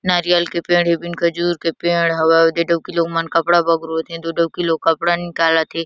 नारीयल के पेड़ ई बिन खजूर के पेड़ हवय ऊदे डउकी लोग मन कपडा बगरोत हे ओदे डउकी लोग कपड़ा निकालत हे।